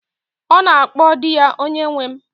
Ọ na-akpọ di ya 'Onyenwe m'